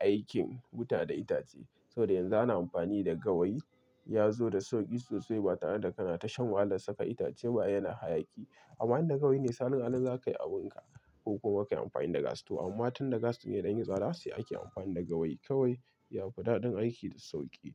aikin wuta da itace saboda yanzu ana amfani da gawayi. Ya zo da sauƙi sosai, ba tare da kana tashan walan saka itace ba yana hayaki. Amma inda gawayi ne salon alin za ka yi abun ka ko kuma ka yi amfani da gas. To amma tunda gas din ya dan yi tsada sai ake amfani da gawayi kawai. Ya fi daɗin aiki da sauƙi.